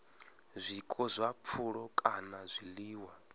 zwiko zwa pfulo kana zwiḽiwa